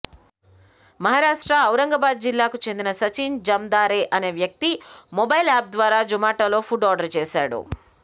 మహారాష్ట్ర ఔరంగాబాద్ జిల్లాకు చెందిన సచిన్ జమ్ధారె అనే వ్యక్తి మొబైల్ యాప్ ద్వారా జుమాటోలో ఫుడ్ ఆర్డర్ చేశాడు